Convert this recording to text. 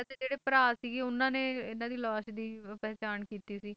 ਤੇ ਜਿਹੜੇ ਭਰਾ ਸੀਗੇ ਉਨ੍ਹਾਂ ਨੇ ਇਨ੍ਹਾਂ ਦੀ ਲਾਸ਼ ਦੀ ਪਹਿਚਾਣ ਕੀਤੀਤ ਸੀ